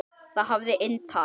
Það hafði inntak.